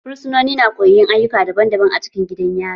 Fursunoni na koyon ayyuka daban daban acikin gidan yari.